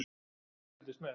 Gunnar fylgdist með.